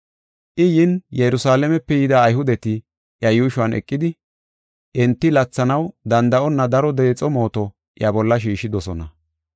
I yin Yerusalaamepe yida Ayhudeti iya yuushuwan eqidi enti lathanaw danda7onna daro deexo mooto iya bolla shiishidosona.